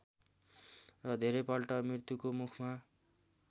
र धेरैपल्ट मृत्युको मुखमा